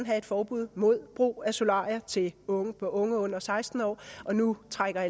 have et forbud mod brug af solarier til unge unge under seksten år og nu trækker